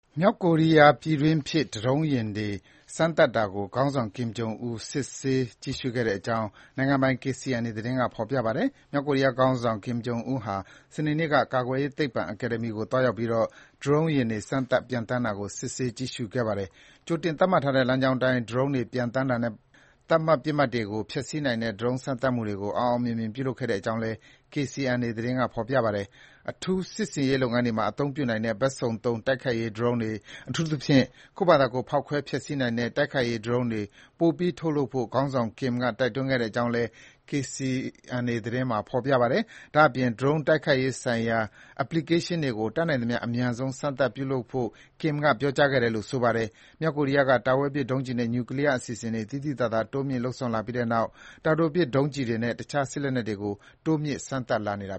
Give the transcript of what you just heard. မြောက်ကိုရီးယား ပြည်တွင်းဖြစ် ဒရုန်းယာဉ်တွေ စမ်းသပ်တာကို ခေါင်းဆောင် Kim Jong Un စစ်ဆေး ကြည့်ရှု့ခဲ့တဲ့အကြောင်း နိုင်ငံပိုင် KCNA သတင်းက ဖော်ပြပါတယ်။ မြောက်ကိုရီးယား ခေါင်းဆောင် Kim Jong Un က စနေနေ့က ကာကွယ်ရေးသိပ္ပံ အကယ်ဒမီကို သွားရောက်ပြီးတော့ ဒရုန်းယာဉ်တွေ စမ်းသပ် ပျံသန်းတာကို စစ်ဆေးကြည့်ရှုခဲ့တာပါ။ ကြိုတင်သတ်မှတ်ထားတဲ့ လမ်းကြောင်းအတိုင်း ဒရုန်းတွေပျံသန်းတာနဲ့ သတ်မှတ် ပစ်မှတ်တွေကို ဖျက်ဆီးနိုင်တဲ့ ဒရုန်းစမ်းသပ်မှုတွေကို အောင်အောင်မြင်မြင် ပြုလုပ်ခဲ့တဲ့ အကြောင်းလည်း KCNA သတင်းက ဖော်ပြပါတယ်။ အထူးစစ်ဆင်ရေးလုပ်ငန်းတွေမှာ အသုံးပြုနိုင်တဲ့ ဘက်စုံသုံး တိုက်ခိုက်ရေး ဒရုန်းတွေ၊ အထူးသဖြင့် ကိုယ့်ဖာသာကိုယ် ဖောက်ခွဲဖျက်စီးနိုင်တဲ့ တိုက်ခိုက်ရေး ဒရုန်းတွေ ပိုပြီး ထုတ်လုပ်ဖို့ ခေါင်းဆောင် Kim က တိုက်တွန်းခဲ့တဲ့ အကြောင်းလည်း KCNA သတင်းကပြောပါတယ်။ ဒါ့အပြင် ဒရုန်းတိုက်ခိုက်ရေးဆိုင်ရာ အက်ပလီကေးရှင်း (Application) တွေကို တတ်နိုင်သမျှ အမြန်ဆုံး စမ်းသပ် အသုံးပြုနိုင်ဖို့ Kim က ပြောကြားခဲ့တယ်လို့ ဆိုပါတယ်။ မြောက်ကိုရီးယားက တာဝေးပစ်ဒုံးကျည်နဲ့ နျူကလီးယားအစီအစဉ်တွေ သိသိသာသာ တိုးမြှင့်လုပ်ဆောင်လာပြီးတဲ့နောက် တာတိုပစ် ဒုံးကျည်တွေနဲ့ တခြား စစ်လက်နက်တွေကို တိုးမြှင့်စမ်းသပ်လာတာ